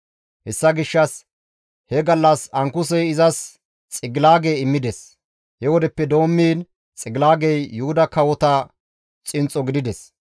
Hessa gishshas he gallas Ankusey izas Xigilaage immides; he wodeppe doommiin Xigilaagey Yuhuda kawota xinxxo gidadus.